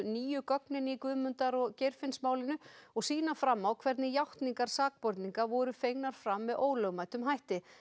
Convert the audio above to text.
nýju gögnin í Guðmundar og Geirfinnsmálinu og sýna fram á hvernig játningar sakborninga voru fengnar fram með ólögmætum hætti